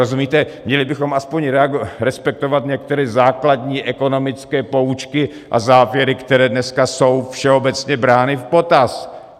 Rozumíte, měli bychom aspoň respektovat některé základní ekonomické poučky a závěry, které dneska jsou všeobecně brány v potaz.